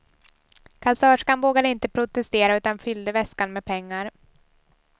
Kassörskan vågade inte protestera utan fyllde väskan med pengar.